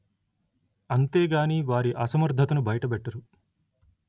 అంతే గాని వారి అసమర్థతను బయట పెట్టరు